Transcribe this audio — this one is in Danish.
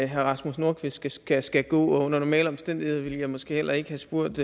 herre rasmus nordqvist skal skal gå og under normale omstændigheder ville jeg måske heller ikke have spurgt